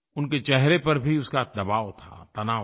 उनके चेहरे पर भी उसका दबाव था तनाव था